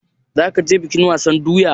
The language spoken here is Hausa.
Zaka je bikin sabon doya?